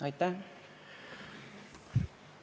Aitäh!